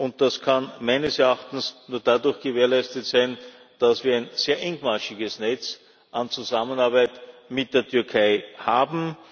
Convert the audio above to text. Und das kann meines Erachtens nur dadurch gewährleistet sein, dass wir ein sehr engmaschiges Netz an Zusammenarbeit mit der Türkei haben.